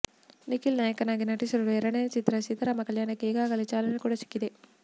ನಿಖಿಲ್ ನಾಯಕನಾಗಿ ನಟಿಸಲಿರುವ ಎರಡನೇ ಚಿತ್ರ ಸೀತಾರಾಮ ಕಲ್ಯಾಣಕ್ಕೆ ಈಗಾಗಲೆ ಚಾಲನೆ ಕೂಡ ಸಿಕ್ಕಿದೆ